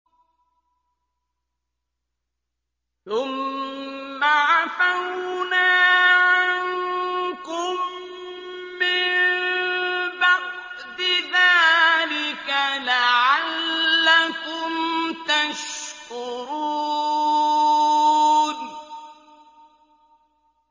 ثُمَّ عَفَوْنَا عَنكُم مِّن بَعْدِ ذَٰلِكَ لَعَلَّكُمْ تَشْكُرُونَ